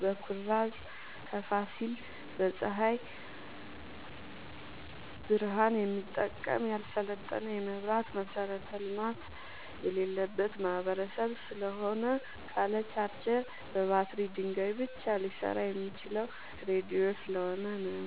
በኩራዝ ከፋሲል በፀሀይ ብረሃን የሚጠቀም ያልሰለጠነ የመብራት መሠረተ ልማት የሌለበት ማህበረሰብ ስለሆነ ካለ ቻርጀር በባትሪ ድንጋይ ብቻ ሊሰራ የሚችለው ራዲዮ ስለሆነ ነው።